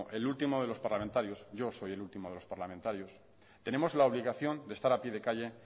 el último de los parlamentarios yo soy el último de los parlamentarios tenemos la obligación de estar a pie de calle